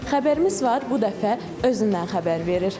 Xəbərimiz var, bu dəfə özündən xəbər verir.